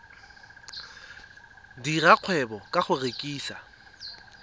dira kgwebo ka go rekisa